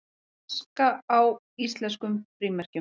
Aska á íslenskum frímerkjum